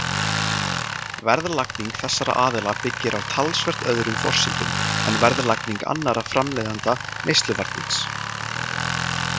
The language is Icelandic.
Verðlagning þessara aðila byggir á talsvert öðrum forsendum en verðlagning annarra framleiðenda neysluvarnings.